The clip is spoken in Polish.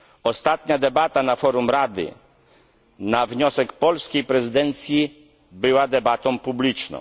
Ostatnia debata na forum Rady na wniosek polskiej prezydencji była debatą publiczną.